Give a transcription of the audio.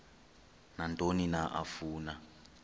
nantoni na afuna